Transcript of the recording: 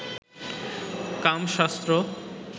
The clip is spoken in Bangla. কামশাস্ত্র